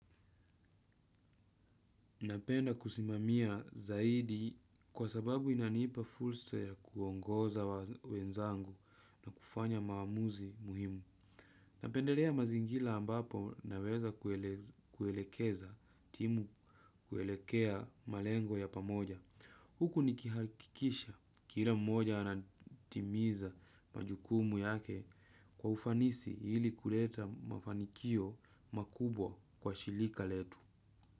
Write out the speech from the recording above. Napenda kusimamia zaidi kwa sababu inanipa fursa ya kuongoza wenzangu na kufanya maamuzi muhimu. Napendelea mazingira ambapo yanaweza kuelekeza timu kuelekea malengo ya pamoja. Huku nikihakikisha kila mmoja anatimiza majukumu yake kwa ufanisi ili kuleta mafanikio makubwa kwa shirika letu.